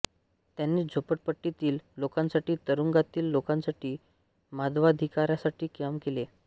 त्यांनी झोपडपट्टीतील लोकांसाठी तुरूंगातील लोकांसाठी मानवाधिकारासाठी काम केले